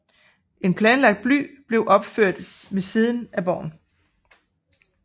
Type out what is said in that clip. En planlagt by blev opført ved siden af borgen